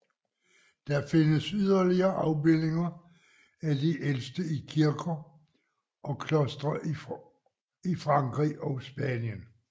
Der findes yderligere afbildninger af de ældste i kirker og klostre i Frankrig og Spanien